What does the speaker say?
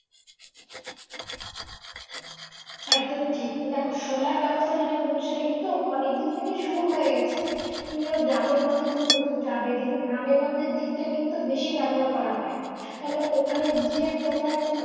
একদমই ঠিক দেখো solar ব্যবস্থা যেটা বলছো সেটা কিন্তু অনেকদিন থেকে শুরু হয়ে গেছে কিংবা গ্রামে গঞ্জে তুমি যদি যাবে দেখবে গ্রামে গঞ্জে দিকটা কিন্তু বেশি ব্যাবহার করা হয় মানে ওখানে যে তোমার